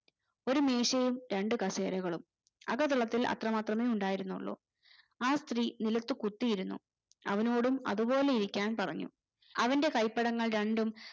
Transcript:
ഒരു മേശേം രണ്ടു കസേരകളും അകത്തളത്തിൽ അത്രേ മാത്രമേ ഉണ്ടായിരുന്നുള്ളു ആ സ്ത്രീ നിലത്തു കുത്തിയിരുന്നു അവനോടും അതുപോലെ ഇരിക്കാൻ പറഞ്ഞു അവന്റെ കൈപ്പടങ്ങൾ രണ്ടും